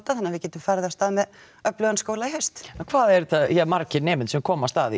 þannig að við getum farið af stað með öflugan skóla í haust en hvað er þetta margir nemendur sem komast að í